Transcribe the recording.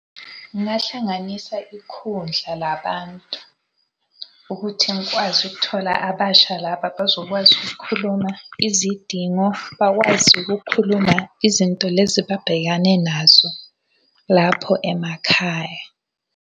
Ngingahlanganisa ikhundla labantu. Ukuthi ngikwazi ukuthola abasha laba abazokwazi ukukhuluma izidingo, bakwazi ukukhuluma izinto lezi ababhekane nazo lapho emakhaya.